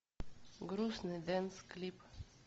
грустный дэнс клип